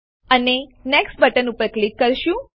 અને next button ઉપર click કરીશું